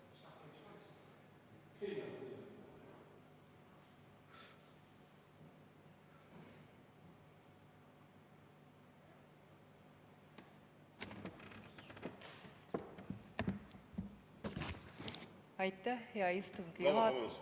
Vabandust!